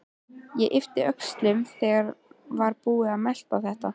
Og yppti öxlum þegar hún var búin að melta þetta.